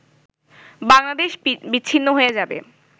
বাংলাদেশ বিচ্ছিন্ন হয়ে যাবে